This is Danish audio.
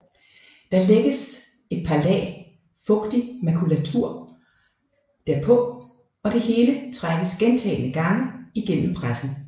Der lægges et par lag fugtig makulatur derpå og det hele trækkes gentagne gange gennem pressen